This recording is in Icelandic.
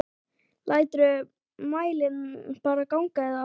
Læturðu mælinn bara ganga eða?